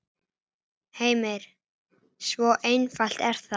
Heimir: Svo einfalt er það?